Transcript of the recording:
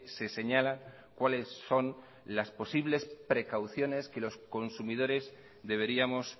se señala cuáles son las posibles precauciones que los consumidores deberíamos